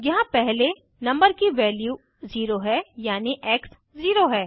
यहाँ पहले नम्बर की वैल्यू 0 है यानि एक्स 0 है